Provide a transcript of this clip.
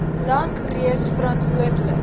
lank reeds verantwoordelik